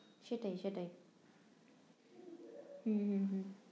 সেটাই সেটাই হম হম হম